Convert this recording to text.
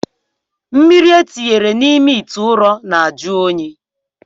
Mmiri etinyere n'ime itè ụrọ na-ajụ oyi.